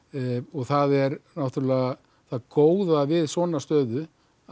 það er náttúrulega það góða við svona stöðu að